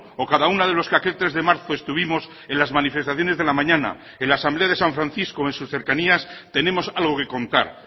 o cada uno de los que aquel tres de marzo estuvimos en las manifestaciones de la mañana en la asamblea de san francisco o en sus cercanías tenemos algo que contar